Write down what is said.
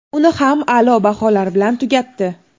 Uni ham a’lo baholar bilan tugatdi.